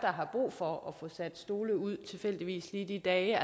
har brug for at få sat stole ud tilfældigvis lige de dage